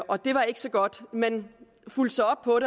og det var ikke så godt man fulgte så op på